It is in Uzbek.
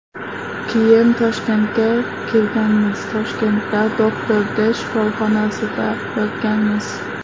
Keyin Toshkentga kelganmiz, Toshkentda Doctor D shifoxonasida yotganmiz.